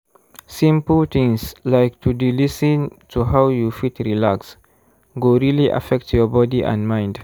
simple things like to d lis ten to how you fit relax go really affect your body and mind.